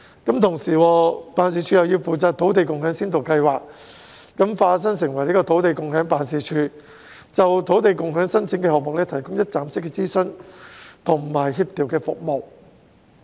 辦事處同時要化身成為土地共享辦事處，負責土地共享先導計劃，就土地共享申請項目提供一站式諮詢和協調服務。